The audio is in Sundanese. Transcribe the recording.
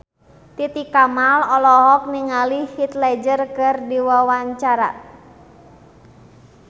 Titi Kamal olohok ningali Heath Ledger keur diwawancara